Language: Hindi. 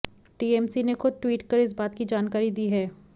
टीएमसी ने खुद ट्वीट कर इस बात की जानकारी दी है